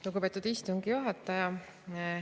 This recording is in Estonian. Lugupeetud istungi juhataja!